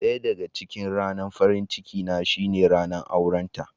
Daya daga cikin ranar farin ciki na shine ranan aure ta.